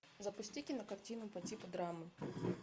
запусти кинокартину по типу драмы